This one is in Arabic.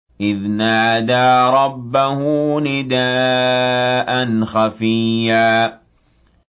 إِذْ نَادَىٰ رَبَّهُ نِدَاءً خَفِيًّا